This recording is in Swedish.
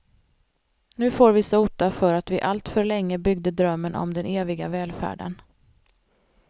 Nu får vi sota för att vi alltför länge byggde drömmen om den eviga välfärden.